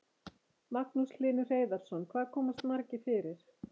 Magnús Hlynur Hreiðarsson: Hvað komast margir fyrir?